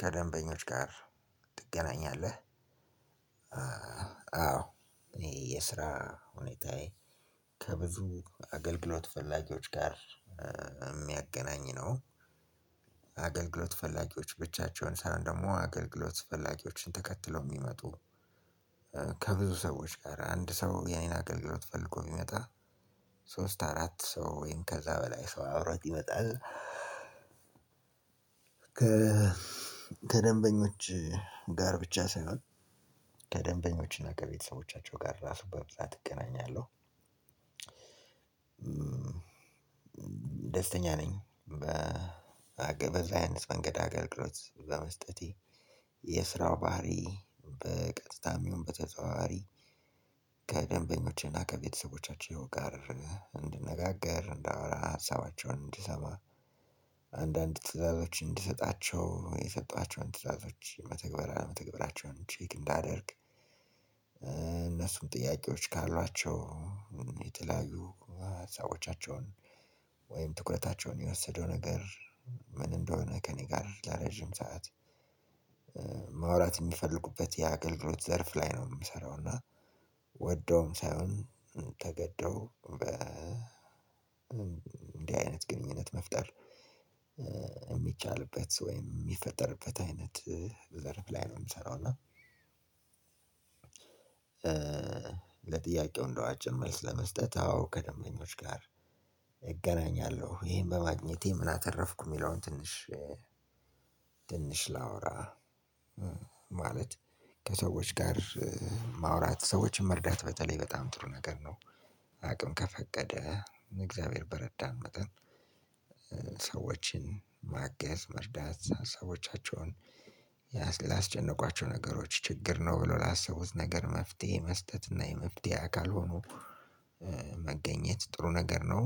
ከደንበኞች ጋር ትገናኛለህ? አዎ እኔ የስራ ሁኔታዬ ከብዙ አገልግሎት ፈላጊዎች ጋር የሚያገናኝ ነው። አገልግሎት ፈላጊዎች ብቻቸውን ሳይሆን ደግሞ አገልግሎት ፈላጊዎችን ተከትለው የሚመጡ ከብዙ ሰዎች ጋር አንድ ሰው ያን አገልግሎት ፈልጎ ቢመጣ ሶስት አራት ሰው ወይም ከዛ በላይ ሰው አብሮት ይመጣል። ጋር ብቻ ሳይሆን ከደንበኞች እና ከቤተሰቦቻቸው ጋር ራሱ በብዛት እገናኛለሁ። ደስተኛ ነኝ በዛ አይነት መንገድ አገልግሎት በመስጠ ቴ። የስራው ባህሪ በቀጥታም ይሁን በተዘዋዋሪ ከደንበኞቼና ከቤተሰቦቻቸው ጋር እንድነጋገር፣ እንዳወራ፣ ሀሳባቸውን እንድሰማ፣ አንዳንድ ትዕዛዞች እንድሰጣቸው፣ የሰጠኋቸውን ትዕዛዞች መተግበር ኦለመተግበራቸውን ቼክ እንዳደርግ እነሱም ጥያቄዎች ካሏቸው የተለያዩ ሀሳቦቻቸውን ወይም ትኩረታቸውን የወሰደው ነገር ምን እንደሆነ ከእኔ ጋር ለረጅም ሰዓት ማውራት የሚፈልጉበት የአገልግሎት ዘርፍ ላይ ነው የምሰራው እና ወደውም ሳይሆን ተገደው በእንዲህ አይነት ግንኙነት መፍጠር የሚቻልበት ወይም የሚፈጠርበት አይነት ዘርፍ ላይ ነው የምሰራው እና ለጥያቄው እንደው አጭር መልስ ለመስጠት አዎ ከደንበኞች ጋር እገናኛለሁ። ይሄን በማግኘቴ ምን አተረፍኩ የሚለውን ትንሽ ትንሽ ላውራ ማለት ከሰዎች ጋር ማውራት ሰዎችን መርዳት በተለይ በጣም ጥሩ ነገር ነው አቅም ከፈቀደ እግዚአብሔር በረዳን መጠን ሰዎችን ማገዝ መርዳት ሀሳቦቻቸውን ያስጨነቋቸው ነገሮች ችግር ነው ብሎ ላሰቡት ነገር መፍትሄ መስጠት እና የመፍትሄ አካል ሆኖ መገኘት ጥሩ ነገር ነው።